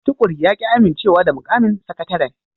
Tukur ya ki amincewa da mukamin sakataren